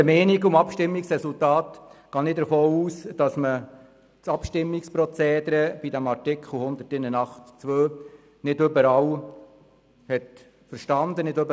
der SiK. Ich gehe davon aus, dass das Abstimmungsprozedere zu Artikel 181 Absatz 2 nicht von allen verstanden wurde.